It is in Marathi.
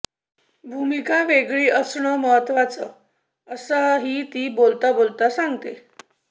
भूमिका वेगळी असणं महत्त्वाचं असंही ती बोलता बोलता सांगते